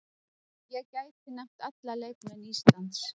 Ég gæti nefnt alla leikmenn Íslands.